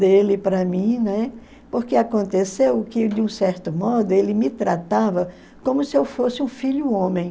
dele para mim, né, porque aconteceu que, de um certo modo, ele me tratava como se eu fosse um filho homem.